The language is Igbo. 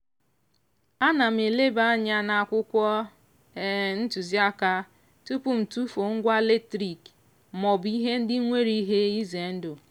ana m elebanye anya n'akwụkwọ ntụziaka tupu m tufuo ngwa latrik maọbụ ihe ndị nwere ihe ize ndụ.